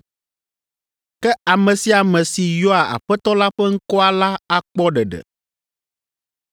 Ke ame sia ame si yɔa Aƒetɔ la ƒe ŋkɔa la akpɔ ɖeɖe.’ ”